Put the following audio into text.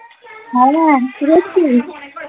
হ্যাঁ হ্যাঁ কি করছিস?